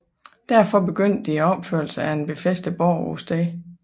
Derfor begyndte de opførelsen af en befæstet borg på stedet